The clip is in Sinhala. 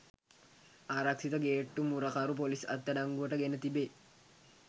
ආරක්ෂිත ගේට්ටු මුරකරු පොලිස් අත්අඩංගුවට ගෙන තිබේ.